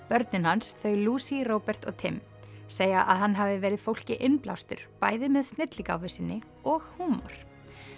börnin hans þau Lucy Robert og Tim segja að hann hafi verið fólki innblástur bæði með snilligáfu sinni og húmor